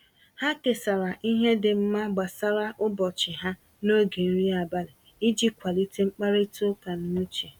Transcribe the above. Ha kesara ihe dị mma gbasara ụbọchị ha n’oge nri abalị iji kwalite mkparịta ụka n’uche.